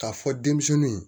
K'a fɔ denmisɛnninw